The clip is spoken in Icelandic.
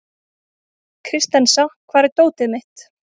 Kristensa, hvar er dótið mitt?